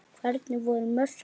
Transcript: Hvernig voru mörkin?